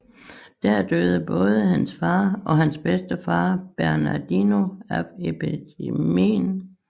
Der døde både hans far og hans bedstefar Bernardino af epidemien